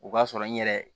O b'a sɔrɔ n yɛrɛ